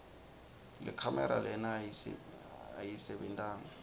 lekhamera lena ayisebentanga